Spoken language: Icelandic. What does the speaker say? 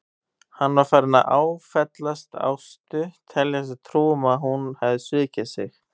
Hann var farinn að áfellast Ástu, telja sér trú um að hún hefði svikið sig.